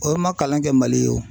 O man kalan kɛ Mali ye o.